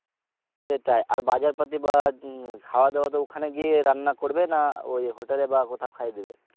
সেটাই আর বাজার পাতি বা উম খাওয়া দাওয়া তো ওখানে গিয়ে রান্না করবে না ওই hotel এ বা কোথাও খাইয়ে দেবে?